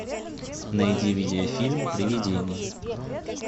найди видеофильм привидение